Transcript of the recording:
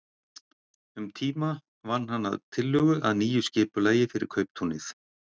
Um tíma vann hann að tillögu að nýju skipulagi fyrir kauptúnið.